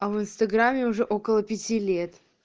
а в инстаграме уже около пяти лет